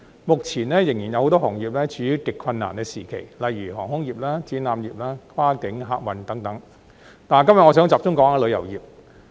目前仍有多個行業處於極困難時期，例如航空業、展覽業、跨境客運業等，但今天我想集中談旅遊業。